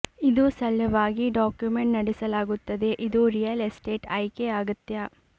ಇದು ಸಲುವಾಗಿ ಡಾಕ್ಯುಮೆಂಟ್ ನಡೆಸಲಾಗುತ್ತದೆ ಇದು ರಿಯಲ್ ಎಸ್ಟೇಟ್ ಆಯ್ಕೆ ಅಗತ್ಯ